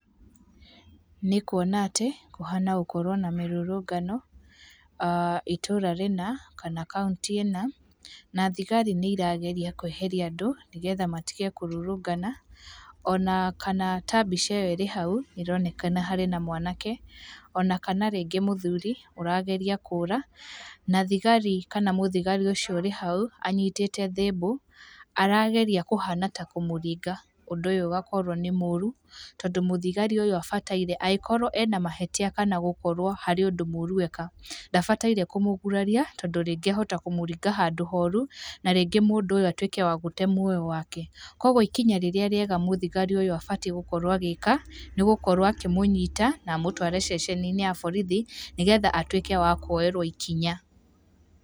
Nĩkuona atĩ, kũhana gũkorũo na mĩrũrũngano, aah itura rĩna, kana kaũntĩ ĩna, na thigari nĩirageria kweheria andũ, nĩgetha matige kũrũrũngana, ona kana ta mbica ĩyo ĩrĩ hau, ĩronekana harĩ na mwanake, ona kana rĩngĩ mũthuri, ũrageria kũra, na thigari kana mũthigari ũcio ũrĩ hau, anyitĩte thimbũ, arageria kũhana ta kũmũringa, ũndũ ũyũ ũgakorũo nĩ mũrũ, tondũ mũthigari ũyũ abataire, angĩkorũo ena mahĩtia kana gũkorũo harĩ ũndũ mũru eka, ndabataire kũmũguraria, tondũ rĩngĩ ahota kũmũringa handũ horu, na rĩngĩ mũndũ ũyũ atwĩke wa gũte muoyo wake. Kwoguo ikinya rĩrĩa rĩega mũno mũthigari ũyũ abatiĩ gũkorwo agĩka, nĩgũkorwo akĩmũnyita, na amũtũare ceceninĩ ya borithi, nĩgetha atwĩke wa kwoerwo ikinya.